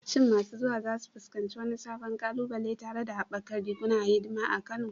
Shin masu zuwa za su fuskanci wani sabon ƙalubale tare da haɓakar rigunan hidima a Kano?